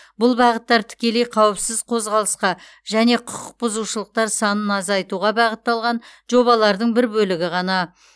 бұл бағыттар тікелей қауіпсіз қозғалысқа және құқықбұзушылықтар санын азайтуға бағытталған жобалардың бір бөлігі ғана